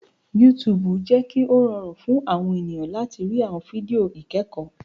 YouTube jẹ kí o rọrùn fún àwọn ènìyàn láti rí àwọn fídíò ikẹkọ.